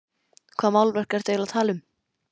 Hvaða málverk ertu eiginlega að tala um?